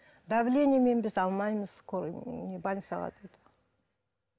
давлениемен біз алмаймыз скорый ііі не больницаға деді